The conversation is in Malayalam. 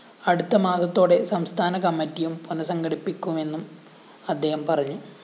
അടുത്ത മാസത്തോടെ സംസ്ഥാന കമ്മറ്റിയും പുനഃസംഘടിപ്പിക്കുമെന്നും അദ്ദേഹം പറഞ്ഞു